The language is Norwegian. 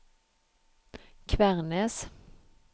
Kvernes